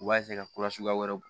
U b'a ka kurasuguya wɛrɛw bɔ